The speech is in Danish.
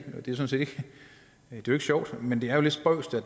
sjovt men det er jo lidt spøjst